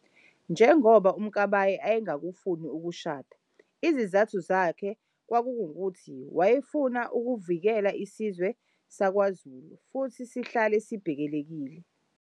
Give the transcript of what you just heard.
Njongoba uMkabayi ayengafuni ukushada isizathu sakhe kwakunguthi wayefuna ukuvikela isizwe sakwaZulu futhi sihlale sibhekelelekile.